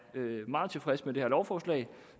meget tilfreds med det her lovforslag